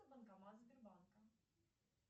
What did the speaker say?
банкомат сбербанка